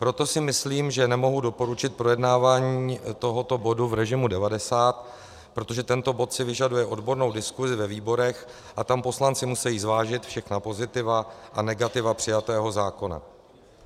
Proto si myslím, že nemohu doporučit projednávání tohoto bodu v režimu 90, protože tento bod si vyžaduje odbornou diskuzi ve výborech a tam poslanci musejí zvážit všechna pozitiva a negativa přijatého zákona.